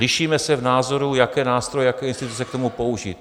Lišíme se v názoru, jaké nástroje, jaké instituce k tomu použít.